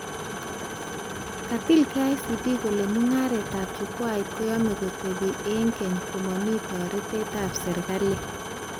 Katil KICD kole mugaretab chukwait koyamee kotebi eng keny komami toretetab serikali